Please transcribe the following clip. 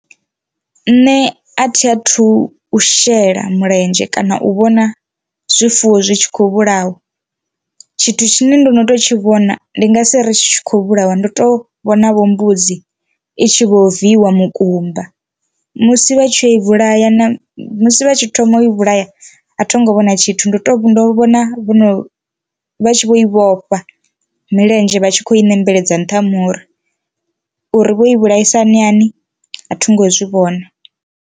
Nṋe a thi a thu u shela mulenzhe kana u vhona zwifuwo zwi tshi kho vhulawa tshithu tshine ndo no to tshi vhona ndi nga si ri tshi khou vhulawa ndo to vhona vho mbudzi i tshi vho viwa mukumba, musi vha tshi ya vhulaya na musi vha tshi thoma u i vhulaya a thi ngo vhona tshithu ndo to ndo vhona vhono vha tshi vho i vhofha milenzhe vha tshi kho i nembeledza nṱhani hori uri vho i vhulaisa hani hani a thi ngo zwi vhona.